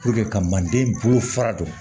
ka mande bolo fara don